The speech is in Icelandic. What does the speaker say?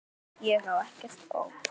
Ég á ekkert ópal